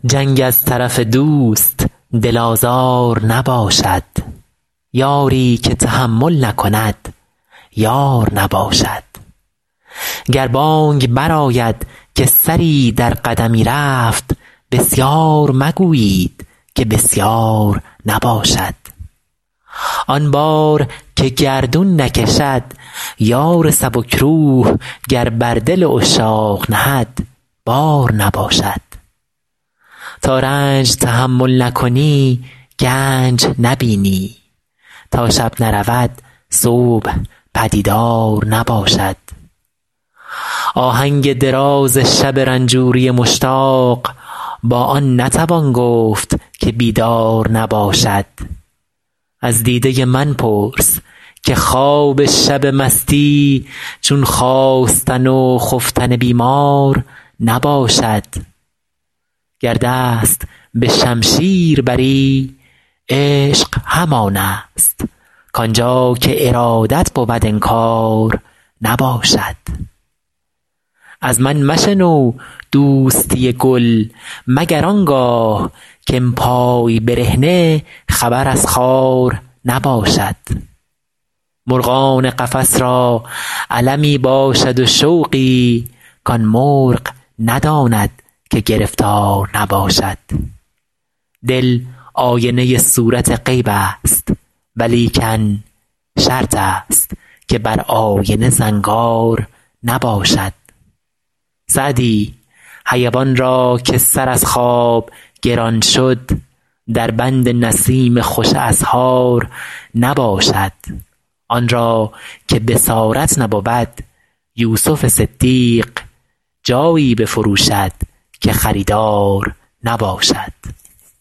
جنگ از طرف دوست دل آزار نباشد یاری که تحمل نکند یار نباشد گر بانگ برآید که سری در قدمی رفت بسیار مگویید که بسیار نباشد آن بار که گردون نکشد یار سبک روح گر بر دل عشاق نهد بار نباشد تا رنج تحمل نکنی گنج نبینی تا شب نرود صبح پدیدار نباشد آهنگ دراز شب رنجوری مشتاق با آن نتوان گفت که بیدار نباشد از دیده من پرس که خواب شب مستی چون خاستن و خفتن بیمار نباشد گر دست به شمشیر بری عشق همان است کآن جا که ارادت بود انکار نباشد از من مشنو دوستی گل مگر آن گاه که ام پای برهنه خبر از خار نباشد مرغان قفس را المی باشد و شوقی کآن مرغ نداند که گرفتار نباشد دل آینه صورت غیب است ولیکن شرط است که بر آینه زنگار نباشد سعدی حیوان را که سر از خواب گران شد در بند نسیم خوش اسحار نباشد آن را که بصارت نبود یوسف صدیق جایی بفروشد که خریدار نباشد